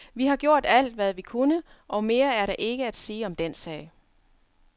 Vi har gjort alt, hvad vi kunne, og mere er der ikke at sige om den sag.